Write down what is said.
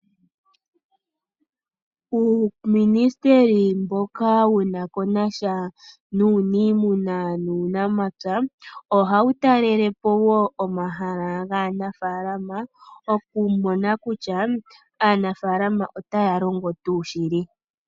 Uuministeli mboka wuna konasha nuuniimuna nuunamapya ohawu talelepo woo omahala gaanafaalama okumona kutya aanafaalama otaya longo tuu shili.